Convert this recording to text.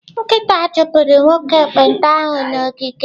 Nkịta chụpụrụ nwoke ekpenta ahụ n'ogige m.